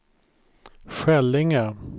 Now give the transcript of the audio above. Skällinge